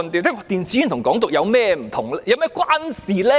電子煙和"港獨"有何關係？